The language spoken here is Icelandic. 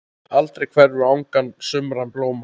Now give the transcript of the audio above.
Aldrei hverfur angan sumra blóma.